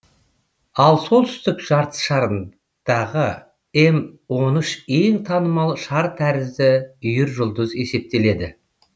ал солтүстік жартышарындағы м он үш ең танымал шар тәрізді үйіржұлдыз есептеледі